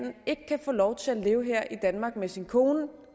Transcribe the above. ikke kan få lov til at leve her i danmark med sin kone